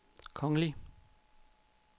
kongelige